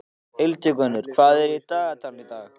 Hildigunnur, hvað er í dagatalinu í dag?